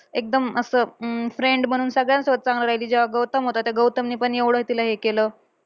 एकदम असं अं friend बनून सगळ्यांसोबत चांगली राहायची. तेव्हा गौतम होता, त्या गौतमने पण एवढं तिला हे केलं.